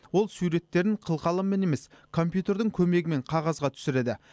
ол суреттерін қылқаламмен емес компьютердің көмегімен қағазға түсіреді